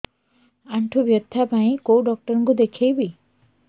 ଆଣ୍ଠୁ ବ୍ୟଥା ପାଇଁ କୋଉ ଡକ୍ଟର ଙ୍କୁ ଦେଖେଇବି